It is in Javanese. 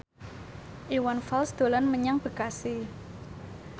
Iwan Fals dolan menyang Bekasi